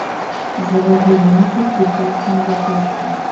заводи ленту прекрасная лягушка